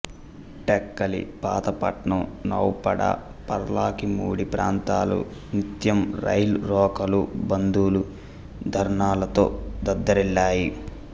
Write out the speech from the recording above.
టెక్కలి పాతపట్నం నౌపడా పర్లాకిముడి ప్రాంతాలు నిత్యం రైల్ రోకోలు బందులు ధర్నాలతో దద్దరిల్లాయి